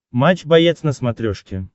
матч боец на смотрешке